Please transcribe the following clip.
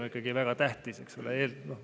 See on ikkagi väga tähtis, eks ole.